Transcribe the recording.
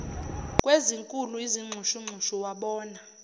kwezinkulu izinxushunxusu wabona